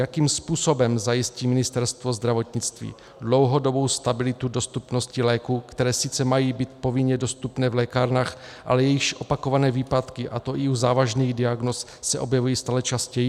Jakým způsobem zajistí Ministerstvo zdravotnictví dlouhodobou stabilitu dostupnosti léků, které sice mají být povinně dostupné v lékárnách, ale jejichž opakované výpadky, a to i u závažných diagnóz, se objevují stále častěji?